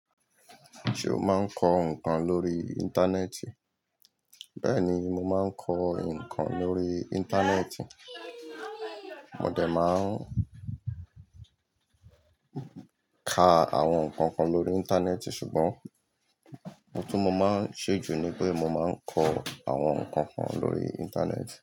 Ṣé o máa ń kọ ǹkan lórí Íńtánẹ́ẹ̀tì? Bẹ́ẹ̀ni, mo máa ń kọ ǹkan lórí Íńtánẹ́ẹ̀tì. Mo dẹ̀ máa ń ka àwọn ǹkan kan lórí Íńtánẹ́ẹ̀tì sùgbọ́n ohun tí mo máa ń ṣe jù ni pé mo máa ń kọ àwọn ǹkan kan lórí Íńtánẹ́ẹ̀tì.